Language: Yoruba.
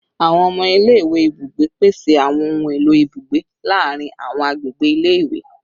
Awọn ọmọ ile-iwe ibugbe, pese awọn ohun elo ibugbe laarin awọn agbegbe ile-iwe